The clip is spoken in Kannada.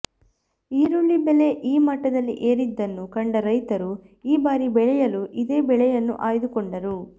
ಈರುಳ್ಳಿ ಬೆಲೆ ಈ ಮಟ್ಟದಲ್ಲಿ ಏರಿದ್ದನ್ನು ಕಂಡ ರೈತರು ಈ ಬಾರಿ ಬೆಳೆಯಲು ಇದೇ ಬೆಳೆಯನ್ನು ಆಯ್ದುಕೊಂಡರು